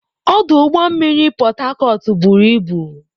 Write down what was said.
Ọdụ ụgbọ mmiri Port Harcourt buru ibu.